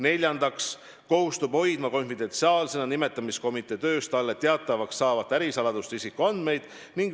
Neljandaks, ta kohustub hoidma konfidentsiaalsena nimetamiskomitee töös talle teatavaks saavat ärisaladust ja isikuandmeid.